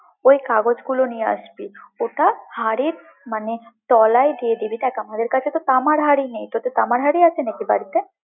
ওই কাগজগুলো নিয়ে আসবি, ওটা মানে হাড়ির তলায় দিয়ে দিবি, দেখ আমাদের কাছে তো তামার হাড়ি নেই, তোদের তামার হাড়ি আছে নাকি বাড়িতে?